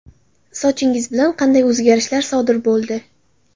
Sochingiz bilan qanday o‘zgarishlar sodir bo‘ldi?